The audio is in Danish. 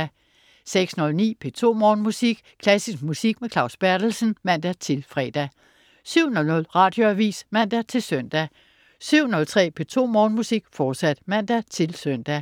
06.09 P2 Morgenmusik. Klassisk musik med Claus Berthelsen (man-fre) 07.00 Radioavis (man-søn) 07.03 P2 Morgenmusik, fortsat (man-søn) 08.00